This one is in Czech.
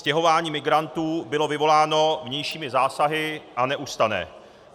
Stěhování migrantů bylo vyvoláno vnějšími zásahy a neustane.